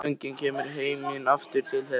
Óvænt þögnin kemur með heiminn aftur til þeirra.